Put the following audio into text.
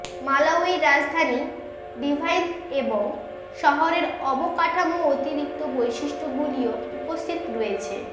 Malawi রাজধানী device এবং শহরের অবকাঠামো অতিরিক্ত বৈশিষ্ট্যগুলিও উপস্থিত রয়েছে